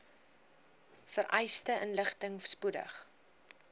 vereiste inligting spoedig